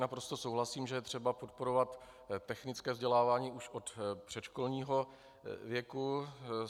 Naprosto souhlasím, že je třeba podporovat technické vzdělávání už od předškolního věku.